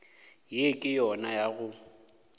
ye ke yona ya go